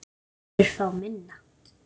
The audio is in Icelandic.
Aðrir fá minna.